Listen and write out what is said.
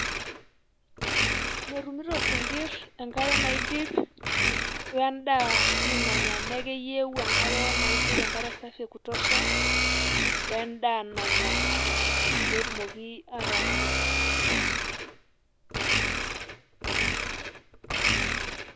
metumito isinkirr enkare naidip ,we ndaa si nanyaa niaku keyieu enkare naidip enkare safi ya kutosha wendaa nanya, petumoki ata kumok.